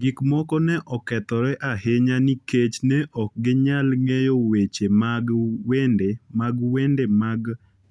Gik moko ne okethore ahinya nikech ne ok ginyal ng’eyo weche mag wende mag wende mag